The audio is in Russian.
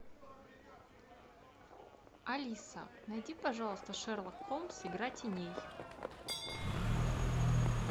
алиса найди пожалуйста шерлок холмс игра теней